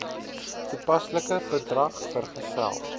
toepaslike bedrag vergesel